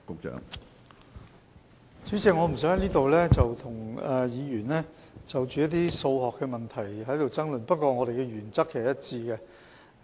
主席，我不想在此與議員就一些數學問題爭論，但我們的原則是一致的。